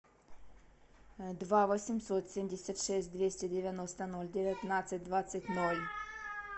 два восемьсот семьдесят шесть двести девяносто ноль девятнадцать двадцать ноль